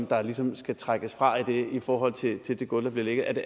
der ligesom skal trækkes fra i forhold til det gulv der vil ligge